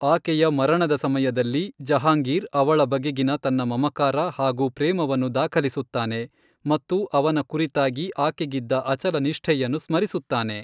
ಆಕೆಯ ಮರಣದ ಸಮಯದಲ್ಲಿ, ಜಹಾಂಗೀರ್ ಅವಳ ಬಗೆಗಿನ ತನ್ನ ಮಮಕಾರ ಹಾಗೂ ಪ್ರೇಮವನ್ನು ದಾಖಲಿಸುತ್ತಾನೆ ಮತ್ತು ಅವನ ಕುರಿತಾಗಿ ಆಕೆಗಿದ್ದ ಅಚಲ ನಿಷ್ಠೆಯನ್ನು ಸ್ಮರಿಸುತ್ತಾನೆ.